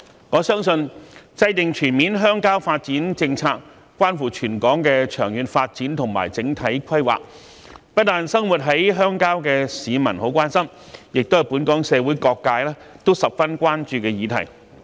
我相信，制訂全面鄉郊發展政策關乎全港的長遠發展和整體規劃，不單是生活在鄉郊的市民很關心，也是本港社會各界十分關注的議題。